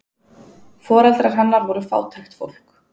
Foreldrar hennar voru fátækt fólk.